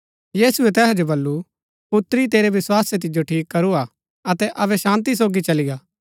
यीशुऐ तैहा जो वलु पुत्री तेरै विस्वासै तिजो ठीक करू हा अतै अबै शान्ती सोगी चली गा